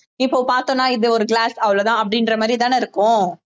இப்போ பார்த்தோம்னா இது ஒரு glass அவ்வளவுதான் அப்படின்ற மாதிரி தானே இருக்கும்